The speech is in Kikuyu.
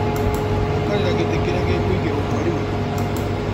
Waikarĩra gĩtĩ kĩrĩa gĩkũigĩrwo mwarimũ.